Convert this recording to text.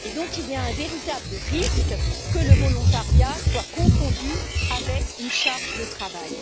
Il y a donc un véritable risque que le volontariat soit confondu avec une charge de travail.